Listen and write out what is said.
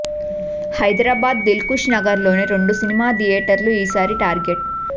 Hyderabad Dilsukhnagar లోని రెండు cinema థియేటర్లు ఈ సారి టార్గెట్